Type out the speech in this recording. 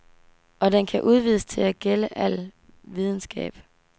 Og den kan udvides til at gælde al videnskab.